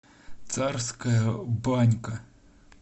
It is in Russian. царская банька